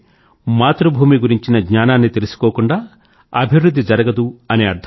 అంటే మాతృభూమి గురించిన జ్ఞానాన్ని తెలుసుకోకుండా అభివృధ్ధి జరగదు